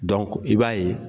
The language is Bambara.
i b'a ye.